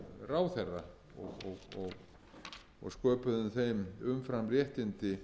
verulega kjör ráðherra og sköpuðu þeim umframréttindi